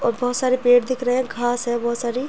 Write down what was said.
और बहुत सारे पेड़ दिख रहे हैं। घास है बहुत सारी।